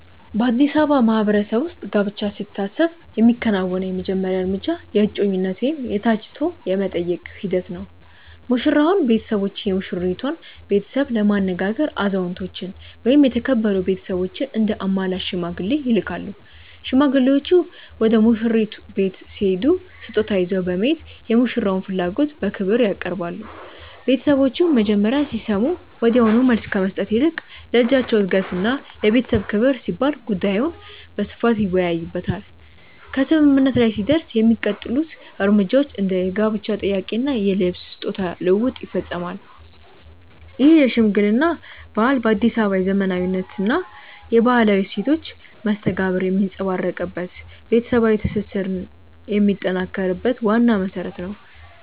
በአዲስ አበባ ማህበረሰብ ውስጥ ጋብቻ ሲታሰብ የሚከናወነው የመጀመሪያው እርምጃ የእጮኝነት ወይም የ"ተጫጭቶ የመጠየቅ" ሂደት ነው። ሙሽራውና ቤተሰቦቹ የሙሽራይቱን ቤተሰብ ለማነጋገር አዛውንቶችን ወይም የተከበሩ ቤተሰቦችን እንደ አማላጅ (ሽማግሌ) ይልካሉ። ሽማግሌዎቹ ወደ ሙሽራይቱ ቤት ሲሄዱ ስጦታ ይዘው በመሄድ የሙሽራውን ፍላጎት በክብር ያቀርባሉ። ቤተሰቦቹም መጀመሪያ ሲሰሙ ወዲያውኑ መልስ ከመስጠት ይልቅ ለልጃቸው እድገትና ለቤተሰብ ክብር ሲባል ጉዳዩን በስፋት ይወያዩበታል። ከስምምነት ላይ ሲደረስ የሚቀጥሉት እርምጃዎች እንደ የጋብቻ ጥያቄ እና የልብስ/ስጦታ ልውውጥ ይፈጸማሉ። ይህ የሽምግልና ባህል በአዲስ አበባ የዘመናዊነትና የባህላዊ እሴቶች መስተጋብር የሚንጸባረቅበት፣ ቤተሰባዊ ትስስርን የሚያጠናክር ዋና መሰረት ነው።